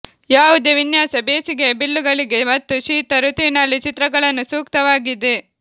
ಯಾವುದೇ ವಿನ್ಯಾಸ ಬೇಸಿಗೆಯ ಬಿಲ್ಲುಗಳಿಗೆ ಮತ್ತು ಶೀತ ಋತುವಿನಲ್ಲಿ ಚಿತ್ರಗಳನ್ನು ಸೂಕ್ತವಾಗಿದೆ